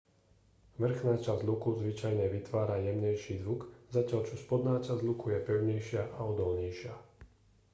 vrchná časť luku zvyčajne vytvára jemnejší zvuk zatiaľ čo spodná časť luku je pevnejšia a odolnejšia